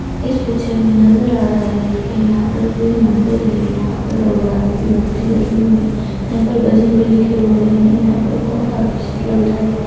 इस पिक्चर में नजर आ रहा है कि यहां पर कोई मंदिर है। यहां पर भगवानों की मूर्ति लगी हुई है। यहां पर भजन भी लिखे हुए हैं। यहां पर बहोत आकर्षित लग रहा है।